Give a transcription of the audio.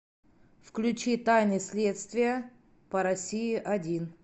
включи тайны следствия по россии один